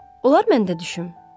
Olar mən də düşüm?